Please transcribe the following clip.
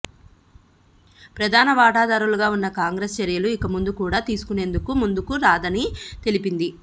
ప్రధాన వాటాదారుగా ఉన్న కాంగ్రెసు చర్యలు ఇకముందు కూడా తీసుకునేందుకు ముందుకు రాదని తెలిపింది